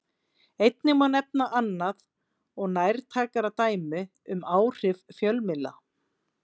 Einnig má nefna annað og nærtækara dæmi um áhrif fjölmiðla.